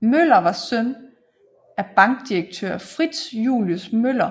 Møller var søn af bankdirektør Fritz Julius Møller